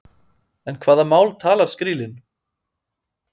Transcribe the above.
En hvaða mál talar skrílinn?